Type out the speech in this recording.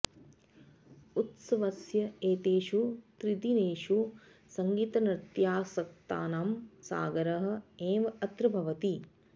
उत्सवस्य एतेषु त्रिदिनेषु सङ्गीतनृत्यासक्तानां सागरः एव अत्र भवति